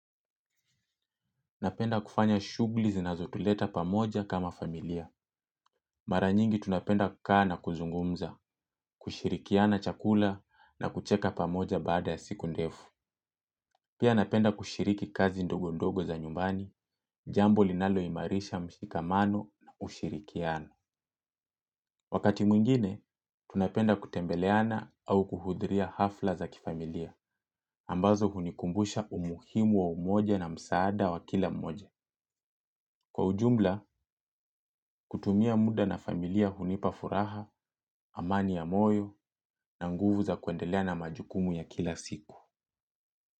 Napenda kufanya shughuli zinazotuleta pamoja kama familia mara nyingi tunapenda kukaa na kuzungumza kushirikiana chakula na kucheka pamoja baada ya siku ndefu. Pia napenda kushiriki kazi ndogo ndogo za nyumbani. Jambo linaloimarisha mshikamano na ushirikiano. Wakati mwingine, tunapenda kutembeleana au kuhudhria hafla za kifamilia ambazo hunikumbusha umuhimu wa umoja na msaada wa kila mmoja kutumia muda na familia hunipa furaha, amani ya moyo na nguvu za kuendelea na majukumu ya kila siku.